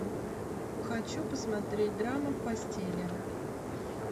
хочу посмотреть драму в постели